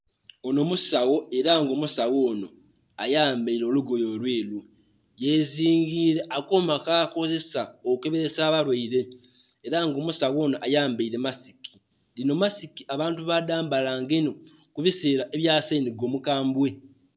Ono musawo era nga omusawo ono ayambaire olugoye olweru yezingire akoma kakozesa okeberesa abalwaire era nga omusawo ono ayambaire masiki. Eno masiki abantu badhambala nga inho kubisera ebyasenhiga omukambwe.